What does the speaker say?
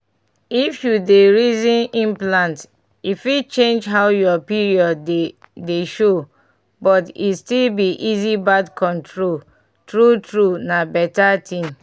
if you dey reason implant e fit change how your period dey dey show — but e still be easy birth control true true na beta tin.